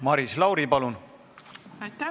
Maris Lauri, palun!